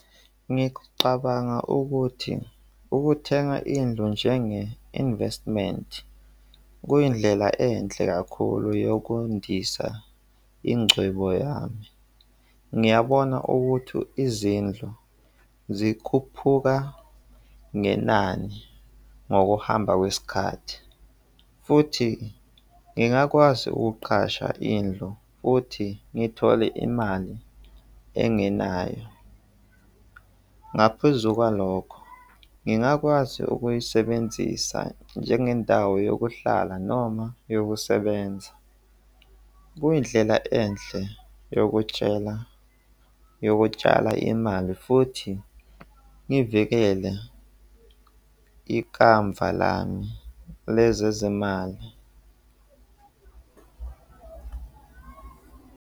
Ngicabanga ukuthi ukuthenga indlu njenge-investment kuyindlela enhle kakhulu yokundisa ingcebo yami. Ngiyabona ukuthi izindlu zikhuphuka ngenani ngokuhamba kwesikhathi futhi ngingakwazi ukuqasha indlu futhi ngithole imali engenayo. Ngaphezu kwalokho, ngingakwazi ukuyisebenzisa njengendawo yokuhlala noma yokusebenza. Kuyindlela enhle yokutshela, yokutshala imali futhi ngivikele ikamva lami lezezimali.